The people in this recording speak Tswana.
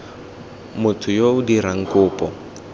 motho yo o dirang kopo